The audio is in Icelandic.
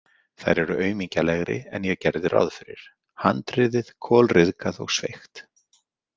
Þær eru aumingjalegri en ég gerði ráð fyrir, handriðið kolryðgað og sveigt.